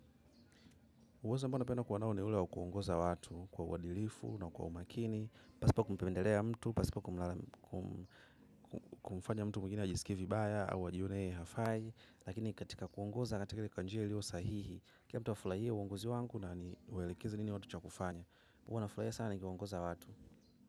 Uwezo ambao napenda kuonewa ni ule wa kuongoza watu kwa wadilifu na kwa umakini, pasipo kumpendelea mtu, pasipo kumfanya mtu mwingine ajisikie vibaya au ajione hafai, lakini katika kuongoza katika kwa njia ilio sahihi, kila mtu afurahie uongozi wangu na ni waelekeze nini watu cha kufanya. Huwa nafurahia sana nikiongoza watu.